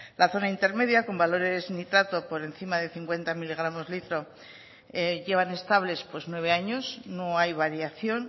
la zona intermedia con valores nitrato por encima de cincuenta mg l llevan estables nueve años no hay variación